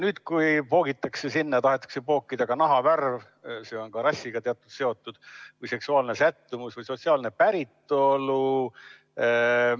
Nüüd tahetakse sinna pookida ka nahavärv, mis on samuti rassiga teatud viisil seotud, ning seksuaalne sättumus ja sotsiaalne päritolu.